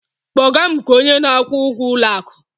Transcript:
kpọga m nke onye na-akwụ ụgwọ ụlọ akụ!